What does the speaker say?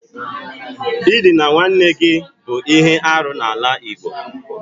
Ịdịna nwanne gị bụ ihe arụ n'ala igbo.